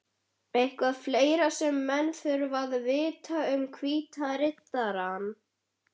Eitthvað fleira sem menn þurfa að vita um Hvíta Riddarann?